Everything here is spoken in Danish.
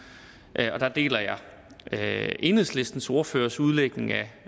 og der deler jeg enhedslistens ordførers udlægning af